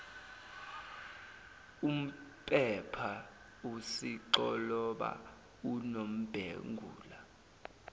umpepha usixoloba unombengula